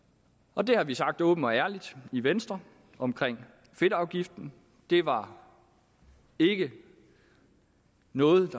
og det har vi sagt åbent og ærligt i venstre om fedtafgiften det var ikke noget